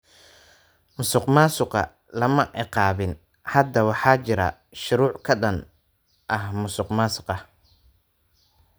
Musuq maasuqa lama ciqaabin. Hadda waxaa jira shuruuc ka dhan ah musuqmaasuqa.